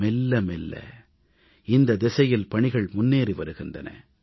மெல்ல மெல்ல இந்தத் திசையில் பணிகள் முன்னேறி வருகின்றன